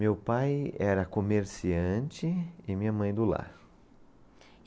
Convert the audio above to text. Meu pai era comerciante e minha mãe do lar.